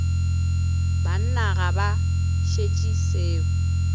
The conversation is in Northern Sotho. banna ga ba šetše seo